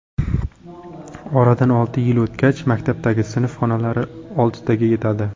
Oradan olti yil o‘tgach maktabdagi sinf xonalari oltitaga yetadi.